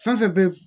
Fɛn fɛn bɛ